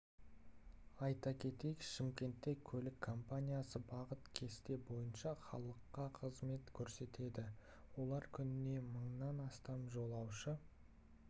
айта кетейік шымкентте көлік компаниясы бағыт кесте бойынша халыққа қызмет көрсетеді олар күніне мыңнан астам жолаушы